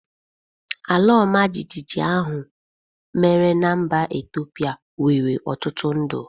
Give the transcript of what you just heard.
Alaọmajịjịjị ahụ mere na mba Ethiopia nwere ọtụtụ ndụ.